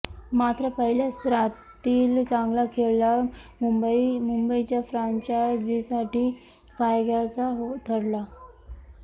मात्र पहिल्या सत्रातील चांगला खेळला मुंबईच्या फ्रँचायझीसाठी फायद्याचा ठरला